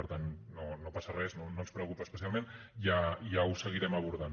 per tant no passa res no ens preocupa especialment ja ho seguirem abordant